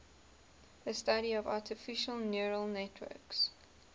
the study of artificial neural networks